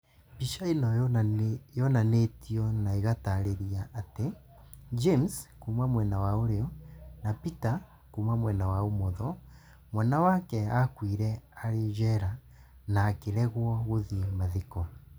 Mbica ĩno yonanĩtio na ĩgatarĩria atĩ James(kuuma mwena wa ũrĩo) na Peter (kuuma mwena wake wa ũmotho) Mwana wake aakuire arĩ njera, na akĩregwo gũthiĩ mathiko